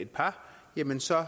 et par jamen så